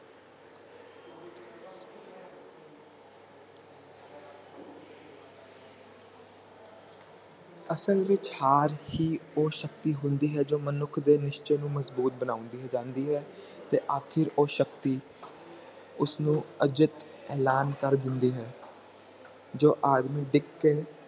ਅਸਲ ਵਿਚ ਹਰ ਹੀ ਉਹ ਸ਼ਕਤੀ ਹੁੰਦੀ ਹੈ ਜੋ ਮਨੁੱਖ ਦੇ ਨਿਸਚੇ ਨੂੰ ਮਜਬੂਤ ਬਣਾਉਂਦੀ ਜਾਂਦੀ ਹੈ ਤੇ ਆਖਿਰ ਉਹ ਸ਼ਕਤੀ ਉਸ ਨੂੰ ਅਜਿੱਤ ਐਲਾਨ ਕਰ ਦਿੰਦੀ ਹੈ ਜੋ ਆਦਮੀ ਦੀ